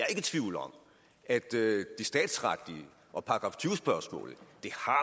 i tvivl om at det statsretlige og spørgsmålet